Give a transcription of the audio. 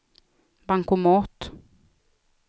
bankomat